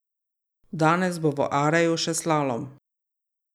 Danes bo v Areju še slalom.